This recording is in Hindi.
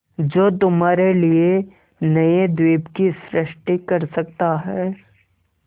जो तुम्हारे लिए नए द्वीप की सृष्टि कर सकता है